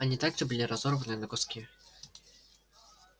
они также были разорваны на куски